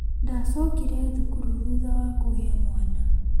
Ndacokire thukuru thutha wa kũgia mwana